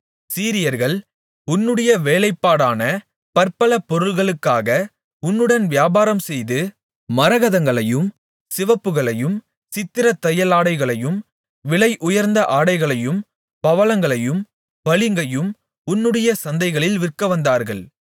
சீரியர்கள் உன்னுடைய வேலைப்பாடான பற்பல பொருள்களுக்காக உன்னுடன் வியாபாரம்செய்து மரகதங்களையும் சிவப்புகளையும் சித்திரத்தையலாடைகளையும் விலைஉயர்ந்த ஆடைகளையும் பவளங்களையும் பளிங்கையும் உன்னுடைய சந்தைகளில் விற்கவந்தார்கள்